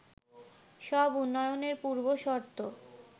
সব উন্নয়নের পূর্বশর্ত